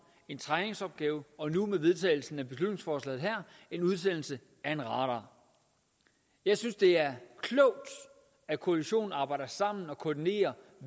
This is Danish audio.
en træningsopgave og nu med vedtagelsen af beslutningsforslaget her en udsendelse af en radar jeg synes det er klogt at koalitionen arbejder sammen og koordinerer